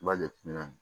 I b'a jate nɔ